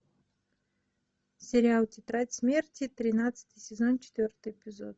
сериал тетрадь смерти тринадцатый сезон четвертый эпизод